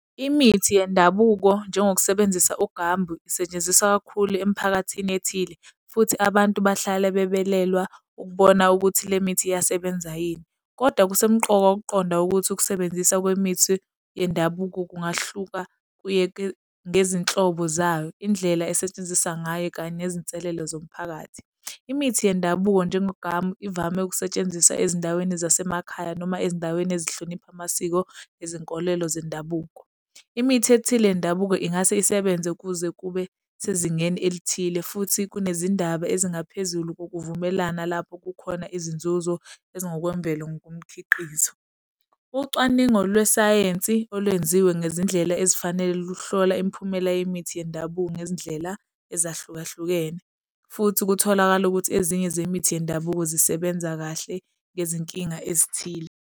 Imithi yendabuko njengokusebenzisa uGambu isetshenziswa kakhulu emphakathini ethile futhi abantu bahlale bebelelwa ukubona ukuthi le mithi iyasebenza yini. Kodwa kusemqoka ukuqonda ukuthi ukusebenzisa kwemithi yendabuko kungahluka kuye ngezinhlobo zayo, indlela esetshenziswa ngayo kanye nezinselela zomphakathi. Imithi yendabuko njengoGambu ivame ukusetshenziswa ezindaweni zasemakhaya noma ezindaweni ezihlonipha amasiko, ezenkolelo zendabuko. Imithi ethile yendabuko ingase isebenze kuze kube sezingeni elithile futhi kunezindaba ezingaphezulu kokuvumelana lapho kukhona izinzuzo ezingokwemvelo ngokomkhiqizo. Ucwaningo lwesayensi olwenziwe ngezindlela ezifanele luhlola imiphumela yemithi yendabuko ngezindlela ezahlukahlukene, futhi kutholakala ukuthi ezinye zemithi yendabuko zisebenza kahle ngezinkinga ezithile.